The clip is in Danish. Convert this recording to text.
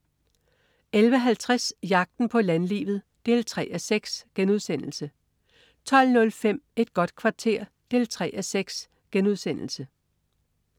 11.50 Jagten på landlivet 3:6* 12.05 Et godt kvarter 3:6*